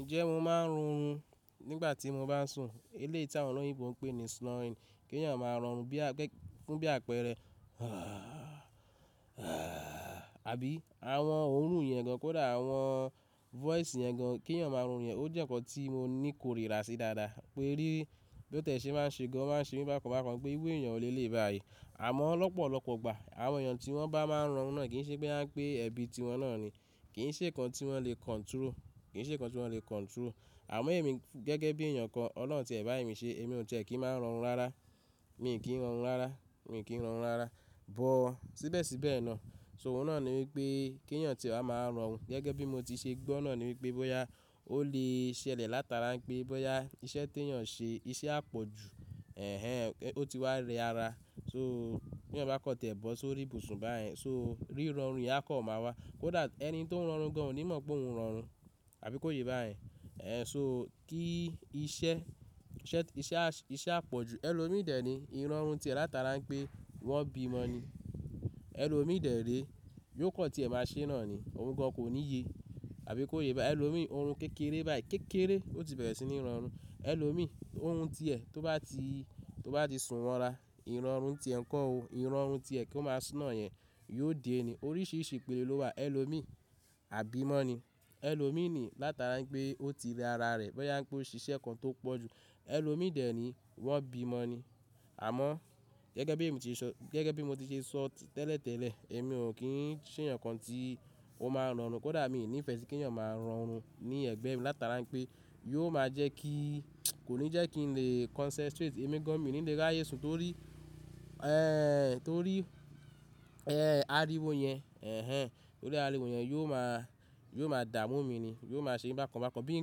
Ǹjẹ́ mo máa ń rorun nígbà tí mo bá sùn? Eleyi ti àwọn oloyinbo pè ní snoring. Kí èèyàn máa rọrun bí àpẹẹrẹ àbí àwọn ohùn ìyẹn gan kódà àwọn voice yẹn gan kí èèyàn máa rọrun yẹn. Ó jẹ́ ǹkan tí mo ní ikorira sí dáadáa. Pé rí, bí ó tẹ́ ṣe máa ń ṣe gan, ó máa ń ṣe ní bákan bákan pé iru èèyàn wò le leyii báyìí. Àmọ́ lọ́pọ̀lọpọ̀ ìgbà àwọn èèyàn tí wọ́n bá máa ń rọrùn náà kì í ṣe pé bóyá n pè ẹbí tiwọn náà ni. Kì í ṣe ǹkan tí wọ́n le control, kì í ṣe ǹkan tí wọ́n le control. Àmọ́ ẹ̀mí gẹ́gẹ́ bí èèyàn kan, Ọlọ́run tẹ bá èmi ṣe, èmi ò tẹ́ kí ń máa rọrùn rárá. Mi kì ń rọrùn rárá, mi kì ń rọrùn rárá. Bọ̀ síbẹ̀síbẹ̀ náà, so òun náà ni wípé kí ẹ̀yàn tí ẹ́ wa maa rorun, gẹ́gẹ́ bí mo ti ṣe gbọ́ náà ni wípé bóyá ó lè ṣẹlẹ̀ látara pé bóyá iṣẹ́ tí ẹ̀yàn ṣe, iṣẹ́ àpọ̀jù ẹ hẹn ó ti wá re ara. So kí ẹ̀yàn bá kan tẹ̀ bọ̀ sórí ibùsùn báyìí so rí rọrùn ìyẹn akàn má wá. Kódà ẹni tó ń rọrùn gan ò ní mọ̀ pé òun ń rọrùn. Àbí kò yé báyìí? So kí iṣẹ́, iṣẹ́ iṣẹ́ àpọ̀jù ẹ lò mí dè ni, ìrọ̀rùn tí ẹ látara wípé wọ́n bímọ ni. Ẹ̀ lò míì dẹ̀ re yóò kan tí ẹ máa ṣe náà ni. Òun gan kò ní ye àbí kòyé báyìí ẹ lò mí orun kékeré báyìí, kékeré ó ti bẹ̀rẹ̀ sí ní rọrùn. Ẹ̀ lò mí orun tí ẹ tó bá ti, tó bá ti sùn wọ́ ra, ìrọ̀rùn tí ẹ ń kó o, ìrọ̀rùn tí ẹ kó máa snore yẹn yóò dé ni. Oríṣìíríṣìí ìpele ló wà. Ẹ̀ lò mí àbí mọ́ ni. Ẹ̀ lò mí nii látara wipé ó ti rẹ ara rẹ̀ bóyá ń pé ó ṣiṣẹ́ ǹkan tó pọ̀ jù. Ẹ̀ lò mí dè ni wọ́n bímọ ni. Àmọ́ gẹ́gẹ́ èmi ti sọ, gẹ́gẹ́ bí mo ti ṣe sọ tẹ́lẹ̀tẹ́lẹ̀, èmi ò kí ń ṣe ǹkan tí ó máa ń rọrùn kódà èmi ò ní ìfẹ́ kí ẹ̀yàn máa rorun ní ẹ̀gbẹ́ mi látara pé yóò máa jẹ́ kí kó ní jẹ́ kí n lè concentrate. Ẹ̀mí gan mi ò ní lè ráyé sùn torí torí ariwo yẹn torí ariwo yẹn yóò máa, yóò máa dààmú mi ni. Yóò máa ṣe mi bákan bákan bí i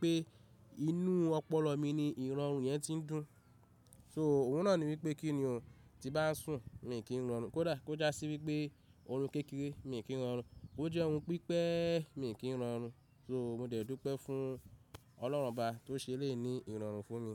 pé inú ọpọlọ mi ni ìrọ̀rùn yẹn ti ń dùn. So òun náà ni wípé kí ni o tí bá ń sùn, mi ò kì ń rọrùn kódà kó já sí wípé orun kékeré mi kì ń rọrùn. Bo jẹ́ orun pípẹ́ mii kì ń rọrùn. So mo dẹ̀ dùpẹ́ fún Ọlọ́run ọbá tó ṣe eleyi ní ìrọ̀rùn fún mi.